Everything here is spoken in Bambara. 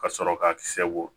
Ka sɔrɔ ka kisɛ bɔ